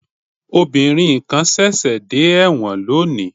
Obìnrin kan ṣẹ̀ṣẹ̀ dé ẹ̀wọ̀n lónìí